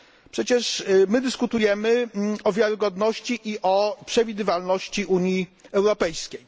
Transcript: Przecież my dyskutujemy o wiarygodności i przewidywalności Unii Europejskiej.